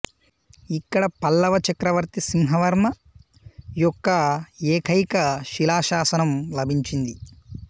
ఇక్కడ పల్లవ చక్రవర్తి సింహవర్మ యొక్క ఏకైక శిలాశాసనం లభించింది